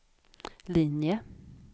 linje